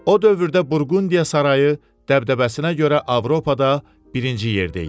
O dövrdə Burqundiya sarayı dəbdəbəsinə görə Avropada birinci yerdə idi.